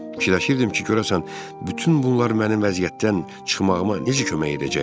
Düşünürdüm ki, görəsən bütün bunlar mənim vəziyyətdən çıxmağıma necə kömək edəcəkdi.